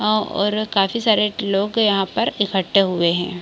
आ और काफी सारे लोग यहाँ पर इक्कठे हुए है।